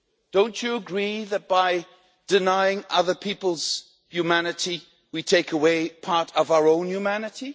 Don't you agree that by denying other people's humanity, we take away part of our own humanity?